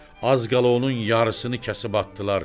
Az qala onun yarısını kəsib atdılar.